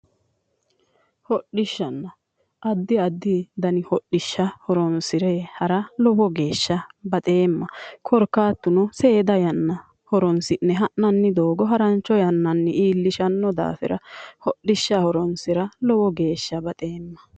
Hodhishsha:-adi adi dani hodhishsha horoonsire hara lowo geeshsha baxeemma korikaatuno seeda yanna horoonsi'ne ha'nanni doogo harancho yananni iillisha dandaanno daafira hodhishsha horoonsira lowo geeshsha baxeema